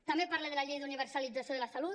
també parla de la llei d’universalització de la salut